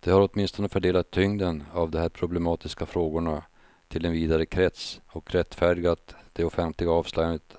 De har åtminstone fördelat tyngden av de här problematiska frågorna till en vidare krets och rättfärdigat det offentliga avslöjandet